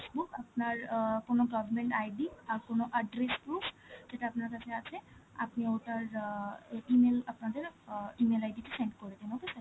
book, আপনার অ্যাঁ কোনো government ID আর কোনো address proof, যেটা আপনার কাছে আছে, আপনি উত্তর অ্যাঁ এ~ E-mail, আপনা ও~ অ E-mail ID তে send করে দিন, okay sir